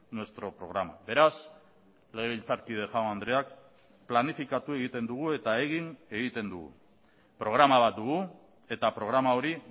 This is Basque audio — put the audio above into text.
nuestro programa beraz legebiltzarkide jaun andreak planifikatu egiten dugu eta egin egiten dugu programa bat dugu eta programa hori